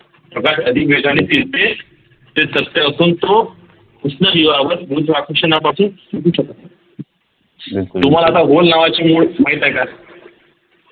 प्रकाश अधिक वेगाने फिरते ते सत्य असून तो कृष्णविवावर गुरुत्वाकर्षणापासून शकत नाही तुम्हाला आता माहित आहे का?